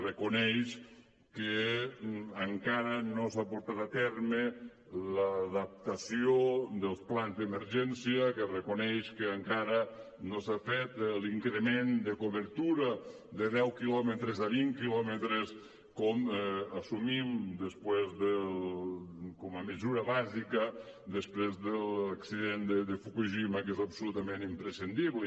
reconeix que encara no s’ha portat a terme l’adaptació dels plans d’emergència que reconeix que encara no s’ha fet l’increment de cobertura de deu quilòmetres a vint quilòmetres com assumim com a mesura bàsica després de l’accident de fukushima que és absolutament imprescindible